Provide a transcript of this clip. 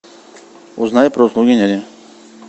узнай про услуги няни